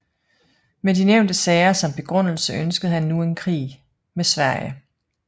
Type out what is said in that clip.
Med de nævnte sager som begrundelse ønskede han nu en krig med Sverige